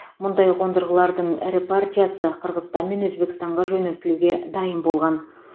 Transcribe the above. мұндай қондырғылардың ірі партиясы қырғызстан мен өзбекстанға жөнелтілуге дайын болған